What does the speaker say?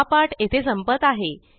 हा पाठ येथे संपत आहे